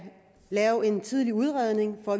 lave en tidlig udredning og